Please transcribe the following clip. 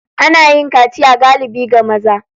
Ana yin kaciya galibi ga maza.